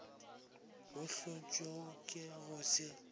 bo hlotšwego ke go se